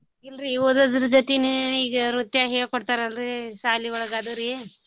ಇಲ್ರೀ ಓದೋದ್ರು ಜತಿನೇ ಈಗ ನೃತ್ಯ ಹೇಳ್ಕೊಡ್ತಾರಲ್ರೀ ಸಾಲಿ ಒಳಗ ಅದರಿ.